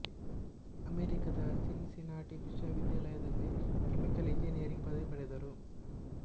ಅಮೆರಿಕದ Cincinnati ವಿಶ್ವವಿದ್ಯಾಲಯದಲ್ಲಿ chemical engineering ಪದವಿ ಪಡೆದರು